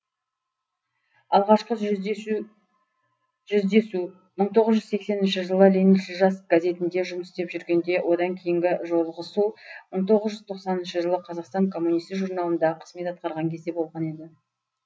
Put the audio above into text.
алғашқы жүздесу мың тоғыз жүз сексенші жылы лениншіл жас газетінде жұмыс істеп жүргенде одан кейінгі жолығысу мың тоғыз жүз тоқсаныншы жылы қазақстан коммунисі журналында қызмет атқарған кезде болған еді